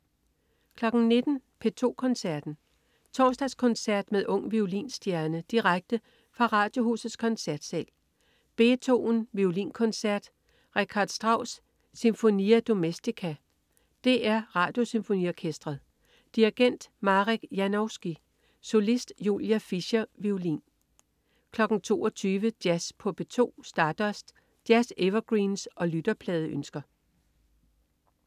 19.00 P2 Koncerten. Torsdagskoncert med ung violinstjerne. Direkte fra Radiohusets koncertsal. Beethoven: Violinkoncert. Richard Strauss: Sinfonia Domestica. DR Radiosymfoniorkestret. Dirigent: Marek Janowski. Solist: Julia Fischer, violin 22.00 Jazz på P2. Stardust. Jazz-evergreens og lytterpladeønsker